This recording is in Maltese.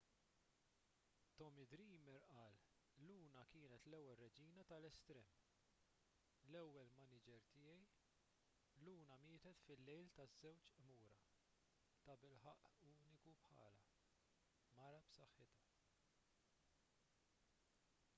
tommy dreamer qal luna kienet l-ewwel reġina tal-estrem l-ewwel maniġer tiegħi luna mietet fil-lejl taż-żewġ qmura tabilħaqq uniku bħalha mara b'saħħitha